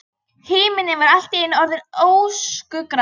Himinninn var allt í einu orðinn öskugrár.